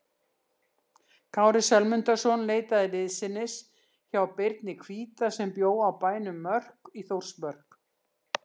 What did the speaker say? Kári Sölmundarson leitaði liðsinnis hjá Birni hvíta sem bjó á bænum Mörk í Þórsmörk.